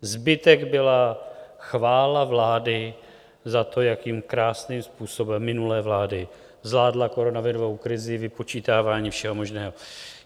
Zbytek byla chvála vlády za to, jakým krásným způsobem, minulé vlády, zvládla koronavirovou krizi, vypočítávání všeho možného.